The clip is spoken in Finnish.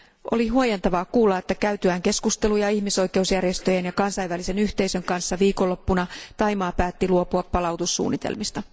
Oli huojentavaa kuulla, että käytyään keskusteluja ihmisoikeusjärjestöjen ja kansainvälisen yhteisön kanssa viikonloppuna Thaimaa päätti luopua palautussuunnitelmista.